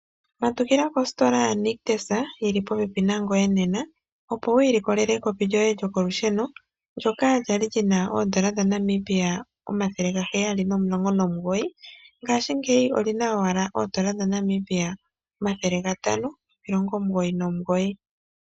Matukila kostola ya nictus yili popepi nangoye nena opo wu ilikolele ekopi lyoye lyokolusheno. Ndjoka lyali lyina oodola dha Namibia omathele gaheyali nomulongo nomugoyi, ngashingeyi olina owala oodola omathele gatano nomilongo omugoyi nomugoyi.